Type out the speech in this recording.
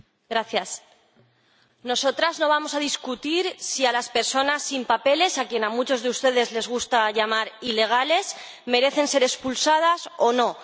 Señor Presidente, nosotras no vamos a discutir si las personas sin papeles, a quienes a muchos de ustedes les gusta llamar ilegales, merecen ser expulsadas o no.